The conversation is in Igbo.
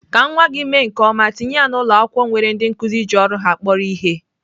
Ka nwa gị mee nke ọma, tinye ya na ụlọakwụkwọ nwere ndị nkụzi ji ọrụ ha kporo ihe.